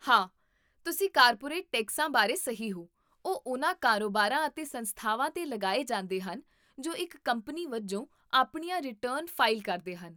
ਹਾਂ, ਤੁਸੀਂ ਕਾਰਪੋਰੇਟ ਟੈਕਸਾਂ ਬਾਰੇ ਸਹੀ ਹੋ, ਉਹ ਉਹਨਾਂ ਕਾਰੋਬਾਰਾਂ ਅਤੇ ਸੰਸਥਾਵਾਂ 'ਤੇ ਲਗਾਏ ਜਾਂਦੇ ਹਨ ਜੋ ਇੱਕ ਕੰਪਨੀ ਵਜੋਂ ਆਪਣੀਆਂ ਰਿਟਰਨ ਫ਼ਾਈਲ ਕਰਦੇ ਹਨ